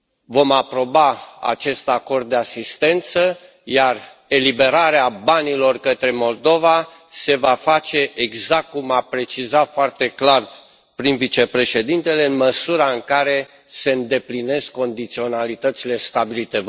Vom aproba acest acord de asistență, iar eliberarea banilor către Moldova se va face exact cum a precizat foarte clar prim vicepreședintele, în măsura în care se îndeplinesc condiționalitățile stabilite.